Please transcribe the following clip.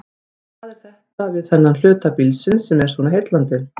Hvað er það við þennan hluta bílsins sem er svona heillandi?